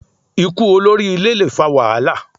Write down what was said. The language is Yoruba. Ikú olórí ilé le fa wàhálà